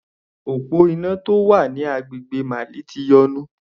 Òpó iná tó wà ní agbègbè Mali ti yọnu.